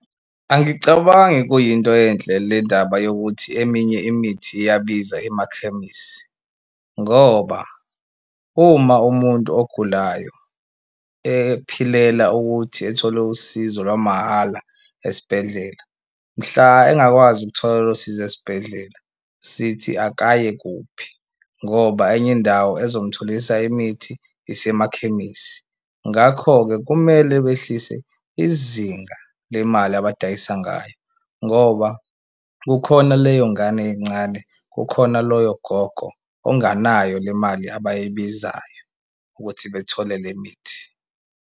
Angicabangi kuyinto enhle le ndaba yokuthi eminye imithi iyabiza emakhemisi ngoba uma umuntu ogulayo ephilela ukuthi ethole usizo lwamahhala esibhedlela, mhla engakwazi ukuthola lolo sizo esibhedlela sithi akaye kuphi ngoba enye indawo ezomtholisa imithi isemakhemisi. Ngakho-ke kumele behlise izinga lemali abadayisa ngayo ngoba kukhona leyo ngane ey'ncane, kukhona loyo gogo onganayo le mali abayibizayo ukuthi bethole le mithi.